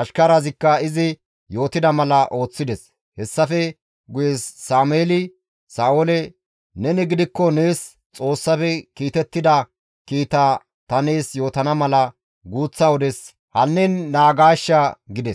Ashkarazikka izi yootida mala ooththides; hessafe guye Sameeli Sa7oole, «Neni gidikko nees Xoossafe kiitettida kiita ta nees yootana mala guuththa wodes hannin naagaashsha» gides.